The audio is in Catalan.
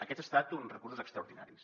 aquests han estat uns recursos extraordinaris